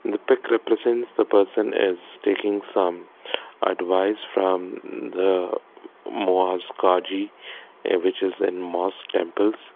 the pic represents the person as taking some advice from the mass kazee a which is an mass temples.